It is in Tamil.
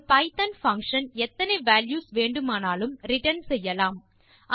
ஒரு பைத்தோன் பங்ஷன் எத்தனை வால்யூஸ் வேண்டுமானாலும் ரிட்டர்ன் செய்யலாம்